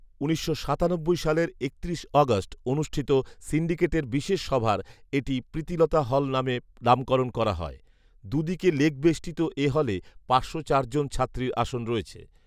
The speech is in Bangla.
উনিশশো সাতানব্বই সালের একত্রিশ অগস্ট অনুষ্ঠিত সিন্ডিকেটের বিশেষ সভার এটি “প্রীতিলতা হল” নামে নামকরণ করা হয়৷ দুদিকে লেক বেষ্টিত এ হলে পাঁচশ জন ছাত্রীর আসন রয়েছে৷